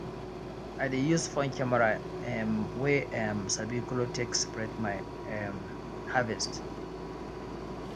i dey use phone camera um wey um sabi color take separate my um harvest